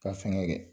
Ka fɛnkɛ